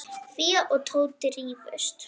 Fía og Tóti rifust.